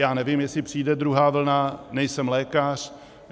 Já nevím, jestli přijde druhá vlna, nejsem lékař.